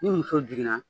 Ni muso jiginna